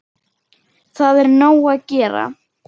Það er nóg að gera.